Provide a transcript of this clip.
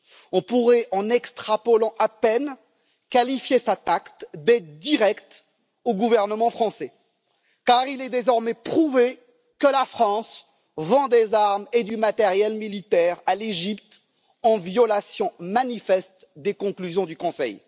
On pourrait, en extrapolant à peine, qualifier cet acte d'aide directe au gouvernement français, car il est désormais prouvé que la France vend des armes et du matériel militaire à l'Égypte, en violation manifeste des conclusions du Conseil.